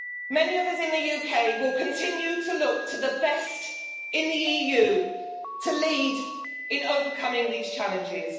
Many of us in the UK will continue to look to the best in the EU to lead in overcoming these challenges.